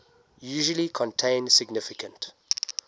usually contain significant